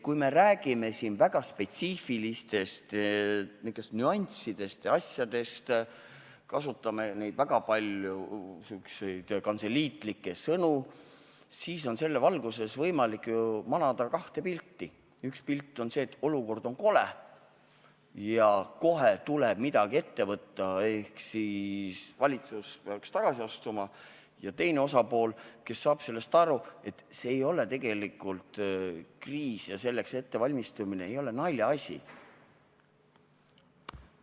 Kui me räägime siin väga spetsiifilistest nüanssidest ja asjadest, kasutame väga palju sihukesi kantseliitlikke sõnu, siis on selle valguses ju võimalik manada ette kaks pilti: üks pilt on see, et olukord on kole ja kohe tuleb midagi ette võtta ehk valitsus peaks tagasi astuma, ja teine pilt on see, et see ei ole tegelikult kriis ja selleks ettevalmistumine ei ole naljaasi.